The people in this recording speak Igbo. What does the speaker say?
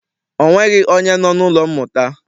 Ọ nweghị onye nọ n'ụlọ mmụta.